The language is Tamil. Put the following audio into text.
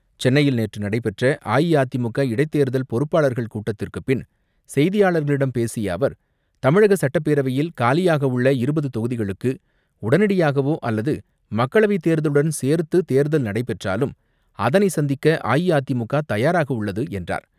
சென்னையில் நேற்று நடைபெற்ற அஇஅதிமுக இடைத் தேர்தல் பொறுப்பாளர்கள் கூட்டத்திற்குப் பின் செய்தியாளர்களிடம் பேசிய அவர், தமிழக சட்டப்பேரவையில் காலியாக உள்ள இருபது தொகுதிகளுக்கு, உடனடியாகவோ அல்லது மக்களவைத் தேர்தலுடன் சேர்த்து தேர்தல் நடைபெற்றாலும் அதனை சந்திக்க அஇஅதிமுக தயாராக உள்ளது என்றார்.